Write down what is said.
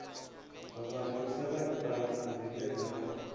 vhathu sa khasiṱama dzine dza